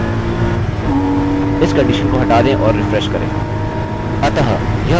अतः यह मेरा नाम md5 में एन्क्रिप्टेड है